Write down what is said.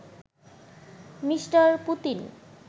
me: Putin